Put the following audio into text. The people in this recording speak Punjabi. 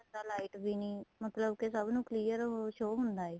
light ਵੀ ਨਹੀਂ ਮਤਲਬ ਕੇ ਸਭ ਨੂੰ clear show ਹੁੰਦਾ ਏ